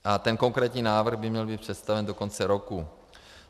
A ten konkrétní návrh by měl být představen do konce roku.